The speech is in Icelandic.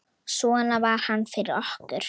Svona var hann fyrir okkur.